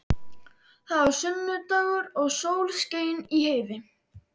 Það var sunnudagur og sól skein í heiði.